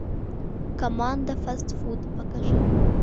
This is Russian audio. команда фастфуд покажи